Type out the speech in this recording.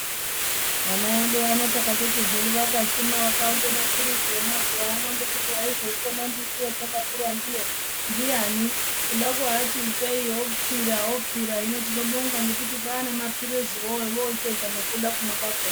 Vana edu ano takatoti hedu vakashuma vakaunza maphirizi emazuwaano ngekuti waizoikona mbiti yatakakura ndiyo ndiyani? Kuda kuvati ipei opfira opfira, hino tinobonga ngekuti kwaane maphiriziwo ovochitoita nekuda kumwa kwakhona.